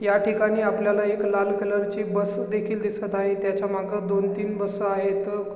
ह्या ठिकाणी आपल्याला एक लाल कलर ची बस देखील दिसत आहे त्याच्यामागे दोन तीन बस आहेत.